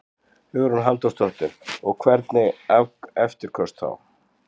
Hugrún Halldórsdóttir: Og hvernig eftirköst þá?